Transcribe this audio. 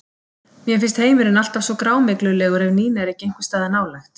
Mér finnst heimurinn alltaf svo grámyglulegur ef Nína er ekki einhvers staðar nálægt.